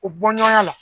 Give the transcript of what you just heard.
U bɔɲɔgɔnya la